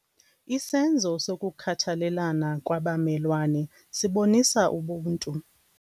Isenzo sokukhathalelana kwabamelwane sibonisa ubuntu.